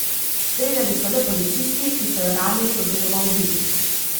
Streljali so le policisti, ki so jo ranili oziroma ubili.